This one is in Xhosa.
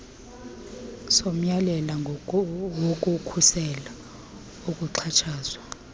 somyalelo wokukhusela ukuxhatshazwa